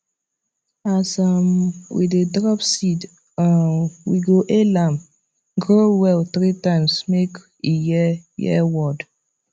as um we dey drop seed um we go hail am grow well three times make e hear hear word